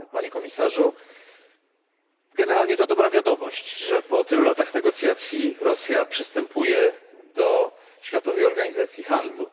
Panie Komisarzu! Generalnie to dobra wiadomość, że po tylu latach negocjacji Rosja przystępuje do Światowej Organizacji Handlu.